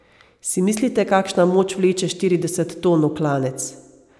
Si mislite, kakšna moč vleče štirideset ton v klanec?